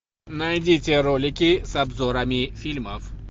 найди те ролики с обзорами фильмов